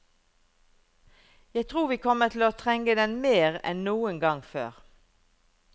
Jeg tror vi kommer til å trenge den mer enn noen gang før.